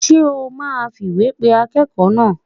Ṣé a máa fìwé pe akẹ́kọ̀ọ́ náà?